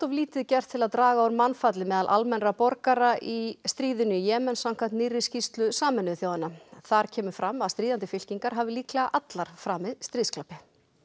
lítið gert til að draga úr mannfalli meðal almennra borgara í stríðinu í Jemen samkvæmt nýrri skýrslu Sameinuðu þjóðanna þar kemur fram að stríðandi fylkingar hafi líklega allar framið stríðsglæpi